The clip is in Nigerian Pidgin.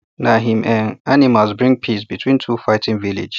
na him um animals bring peace between two fighting villages